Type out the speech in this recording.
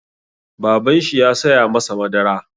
Babanshi ya saya masa madara.